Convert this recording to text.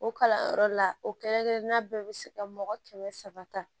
O kalanyɔrɔ la o kelen kelenna bɛɛ be se ka mɔgɔ kɛmɛ saba ta